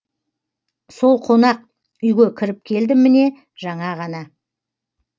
сол қонақ үйге кіріп келдім міне жаңа ғана